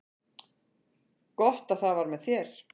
Gott að það var með þér.